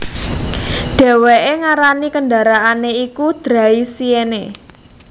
Dhèwèké ngarani kendaraané iku Draisienne